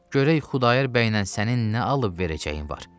Görək Xudayar bəy ilə sənin nə alıb-verəcəyin var.